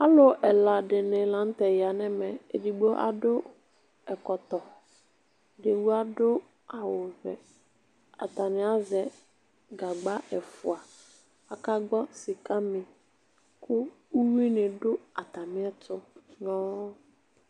Alu ɛla dini la n'tɛ ya n'ɛmɛ, edigbo adu ɛkɔtɔ, edigbo adu awu vɛ atani azɛ gagba ɛfua Akagbɔ sika mi, ku uwui ni du atamiɛtu nyɔɔ